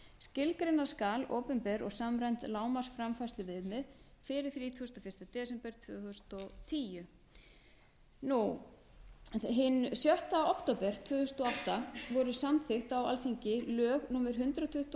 skilgreina skal opinber og samræmd lágmarksframfærsluviðmið fyrir þrítugasta og fyrsta desember tvö þúsund og tíu hinn sjötta október tvö þúsund og átta voru samþykkt á alþingi lög númer hundrað tuttugu og